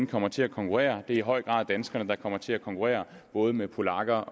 kommer til at konkurrere det er i høj grad danskerne der kommer til at konkurrere både med polakker